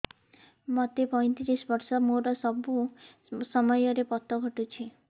ମୋତେ ପଇଂତିରିଶ ବର୍ଷ ମୋର ସବୁ ସମୟରେ ପତ ଘଟୁଛି